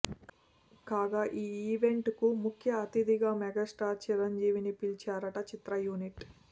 కాగా ఈ ఈవెంట్కు ముఖ్య అతిథిగా మెగాస్టార్ చిరంజీవిని పిలిచారట చిత్ర యూనిట్